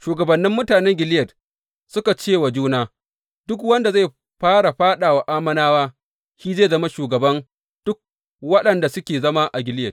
Shugabannin mutanen Gileyad suka cewa juna, Duk wanda zai fara fāɗa wa Ammonawa shi zai zama shugaban duk waɗanda suke zama a Gileyad.